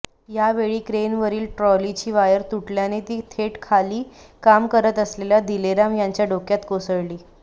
यावेळी क्रेनवरील ट्रॉलीची वायर तुटल्याने ती थेट खाली काम करत असलेल्या दिलेराम यांच्या डोक्यात कोसळली